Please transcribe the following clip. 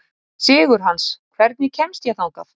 Sigurhans, hvernig kemst ég þangað?